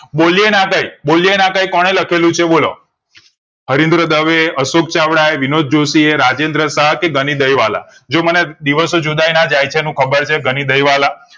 બોલિયે ના કઈ બોલીયે ના આતાએ કોણે લખેલું છે બોલો હરીન્દ્ર દવે અશોક ચાવડા એ વિનોદ જોશી એ રાજેન્દ્ર શાહ કે ગણી દાય વાલા જો મેને દિવસો જુદાય ના જાય એનું ખબર છે ગની દય વાલા